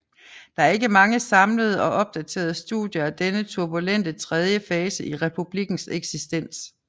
Der er ikke mange samlede og opdaterede studier af denne turbulente tredje fase i republikkens eksistens